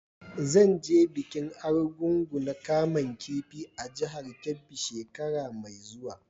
Zan je bikin Argungu na kaman kifi a jihar Kebbi shekara mai zuwa.